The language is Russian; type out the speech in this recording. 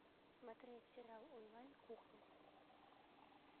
смотреть сериал онлайн кухня